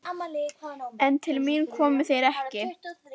En til mín komu þeir ekki.